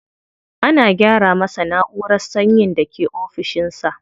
Ana gyara masa na'urar sanyin da ke ofishin sa.